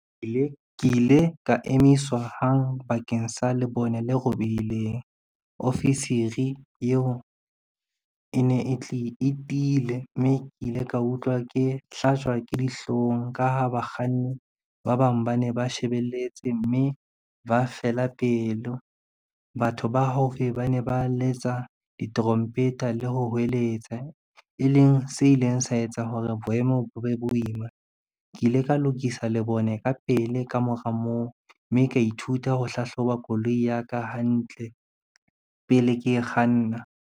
Ke ile ka emiswa hang bakeng sa lebone le robehileng. Ofisiri eo e ne e tiile, mme ke ile ka utlwa ke hlajwa ke dihlong ka ha bakganni ba bang ba ne ba shebelletse mme ba fela pelo. Batho ba haufi ba ne ba letsa ditrompeta le ho hweletsa, e leng se ileng sa etsa hore boemo bo be boima. Ke ile ka lokisa le bone ka pele ka mora moo, mme ka ithuta ho hlahloba koloi ya ka hantle pele ke e kganna.